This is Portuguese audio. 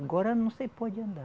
Agora não se pode andar.